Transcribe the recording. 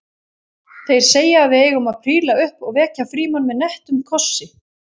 Þeir segja að við eigum að príla upp og vekja Frímann með nettum kossi